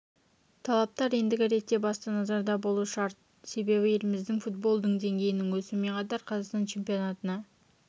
талаптар ендігі ретте басты назарда болуы шарт себебі еліміздегі футболдың деңгейінің өсуімен қатар қазақстан чемпионатына